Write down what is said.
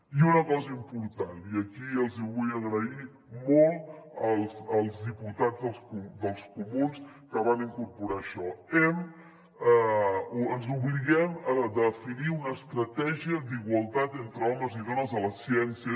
i una cosa important i aquí els hi vull agrair molt als diputats dels comuns que van incorporar això ens obliguem a definir una estratègia d’igualtat entre homes i dones a la ciència